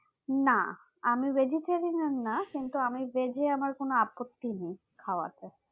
না আমি vegetarian না কিন্তু আমি veg এ আমার কোনো আপত্তি নেই খাবার তা